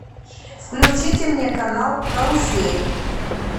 включите мне канал карусель